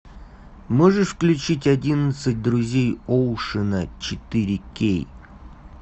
можешь включить одиннадцать друзей оушена четыре кей